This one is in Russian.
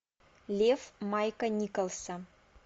лев майка николса